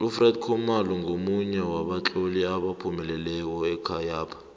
ufred khumalo ngomunye wabatloli abaphumeleleko ekhayapha